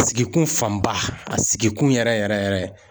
Sigikun fanba a sigikun yɛrɛ yɛrɛ yɛrɛ.